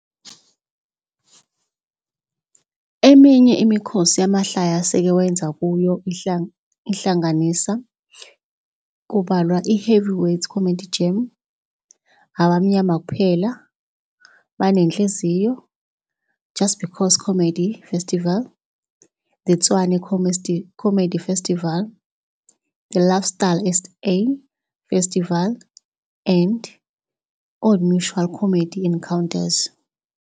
Eminye imikhosi yamahlaya aseke wayenza kuyo ihlanganisa, IHeavyweights Comedy Jam, Abamnyama Kuphela, Banenhliziyo, Just Because Comedy Festival, The Tshwane Comedy Festival, The Lifestyle SA Festival and Old Mutual Comedy Encounters.